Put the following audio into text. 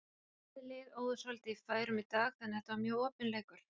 Bæði lið óðu svolítið í færum í dag þannig að þetta var mjög opinn leikur.